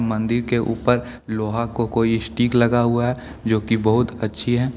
मंदिर के ऊपर लोहा को कोई स्टिक लगा हुआ है जो की बहुत अच्छी है।